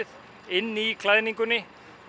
inni í klæðningunni en